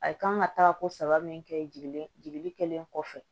A kan ka taa ko saba min kɛ jiginni kelen kɔfɛ